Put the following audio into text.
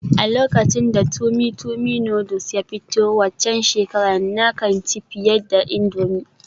A lokacin da tummy tummy noodles ya fito waccan shekarar, na kan ci fiye da indomie